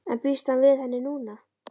En býst hann við henni núna?